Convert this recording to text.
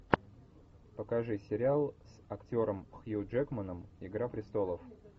покажи сериал с актером хью джекманом игра престолов